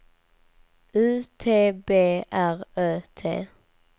U T B R Ö T